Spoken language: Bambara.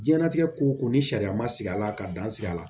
Diɲɛnnatigɛ ko ko ni sariya ma sigi a la ka dan siri a la